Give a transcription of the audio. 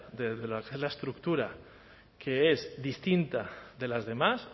desde lo que es la estructura que es distinta de las demás